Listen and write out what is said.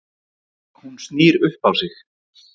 Hún snýr upp á sig.